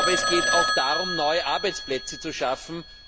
Es geht aber auch darum, neue Arbeitsplätze zu schaffen.